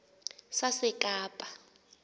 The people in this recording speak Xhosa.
sasekapa